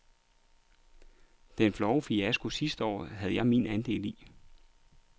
Den flove fiasko sidste år havde jeg min andel i.